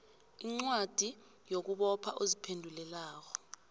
incwadi yokubopha oziphendulelako